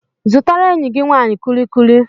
Zụtara enyi gị nwanyị kullikuli.